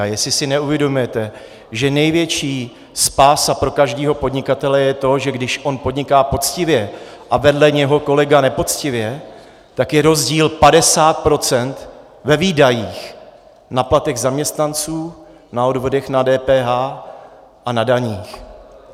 A jestli si neuvědomujete, že největší spása pro každého podnikatele je to, že když on podniká poctivě a vedle něho kolega nepoctivě, tak je rozdíl 50 % ve výdajích na platech zaměstnanců, na odvodech DPH a na daních.